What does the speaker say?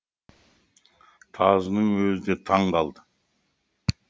тазының өзі де таң қалды